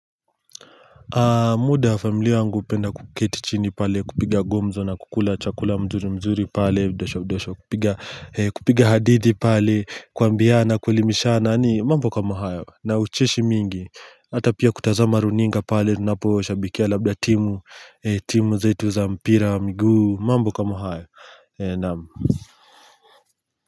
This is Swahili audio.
Muda familia yangu hupenda kuketi chini pale kupiga gomzo na kukula chakula mzuri mzuri pale Kupiga hadithi pale kuambiana kuelimishana ni mambo kama hayo na ucheshi mingi Hata pia kutazama runinga pale tunaposhabikia labda timu timu zetu za mpira, mguu, mambo kama hayo Naam.